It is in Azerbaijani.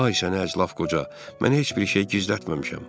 Ay səni əclaf qoca, mən heç bir şey gizlətməmişəm.